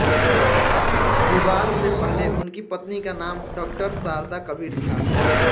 विवाह से पहले उनकी पत्नी का नाम डॉ शारदा कबीर था